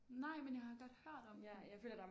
Nej men jeg har godt hørt om den